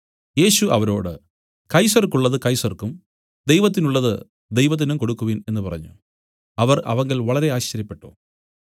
യേശു അവരോട് കൈസർക്കുള്ളത് കൈസർക്കും ദൈവത്തിനുള്ളത് ദൈവത്തിനും കൊടുക്കുവിൻ എന്നു പറഞ്ഞു അവർ അവങ്കൽ വളരെ ആശ്ചര്യപ്പെട്ടു